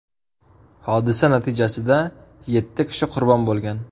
Hodisa natijasida yetti kishi qurbon bo‘lgan.